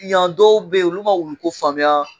Yan dɔw bɛ yen olu ma wulu ko faamuya,